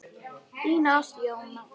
Þín Ásta Jóna.